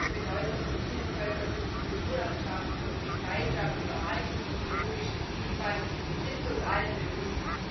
Die große Bedeutung der Bienenvölker für die Kulturlandschaft und den Beitrag zur Erhaltung der biologischen Vielfalt ist uns allen bewusst.